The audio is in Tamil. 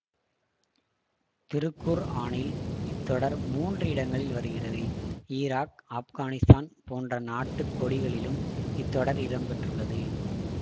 திருக்குர்ஆனில் இத் தொடர் மூன்று இடங்களில் வருகிறது ஈராக் ஆஃப்கானிஸ்தான் போன்ற நாட்டு கொடிகளிலும் இத்தொடர் இடம் பெற்றுள்ளது